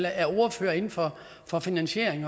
er ordførere inden for for finansiering